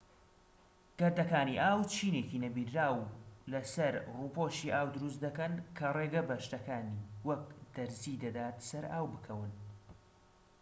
گەردەکانی ئاو چینێکی نەبینراو لە سەر ڕووپۆشی ئاو دروست دەکەن کە ڕێگە بە شتەکانی وەک دەرزی دەدات سەر ئاو بکەون